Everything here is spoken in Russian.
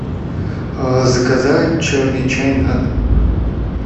заказать черный чай на дом